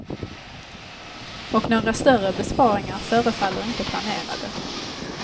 Och några större besparingar förefaller inte planerade.